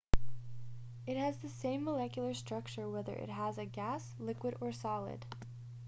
it has the same molecular structure whether it is a gas liquid or solid